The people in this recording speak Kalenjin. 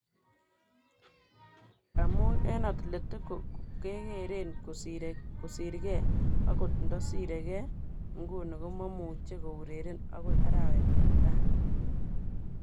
Amun eng Atletico kegeren kosirge okot indosirege inguni komomuche koureren okoi arawet netai.